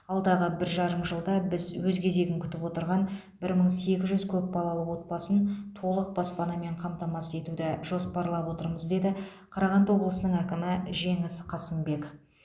алдағы бір жарым жылда біз өз кезегін күтіп отырған бір мың сегіз жүз көп балалы отбасын толық баспанамен қамтамасыз етуді жоспарлап отырмыз деді қарағанды облысының әкімі жеңіс қасымбек